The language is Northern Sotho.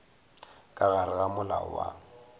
ka gare ga molao wa